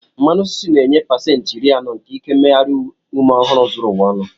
Mmanụ osisi na-enye pasentị iri anọ nke ike mmeghari ume ọhụrụ zuru ụwa ọnụ.